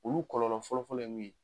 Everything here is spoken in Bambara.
Olu kɔfɔlɔ fɔlɔ ye min ye